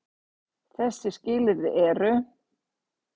Þessi skilyrði eru: